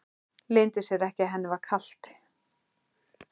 Leyndi sér ekki að henni var kalt.